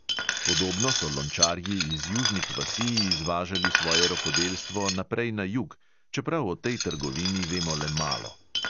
Podobno so lončarji iz južnih vasi izvažali svoje rokodelstvo naprej na jug, čeprav o tej trgovini vemo le malo.